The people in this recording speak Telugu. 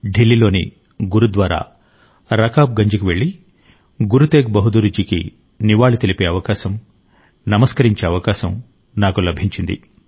ఢిల్లీ లోని గురుద్వారా రకాబ్ గంజ్ కు వెళ్ళి గురు తేగ్ బహదూర్ జికి నివాళి తెలిపే అవకాశం నమస్కరించే అవకాశం నాకు లభించింది